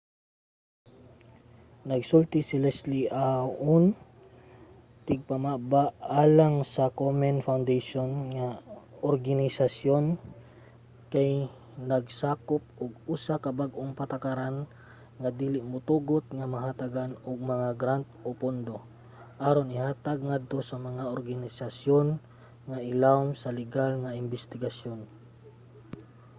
nagsulti si leslie aun tigpamaba alang sa komen foundation nga ang organisayon kay nagsagop og usa ka bag-ong patakaran nga dili motugot nga mahatagan og mga grant o pondo aron ihatag ngadto sa mga organisasyon nga ilawom sa ligal nga imbestigasyon